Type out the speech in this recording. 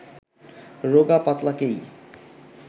রোগা পাতলাকেই